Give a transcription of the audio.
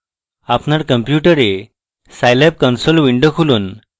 আপনার কম্পিউটারে Scilab console window খুলুন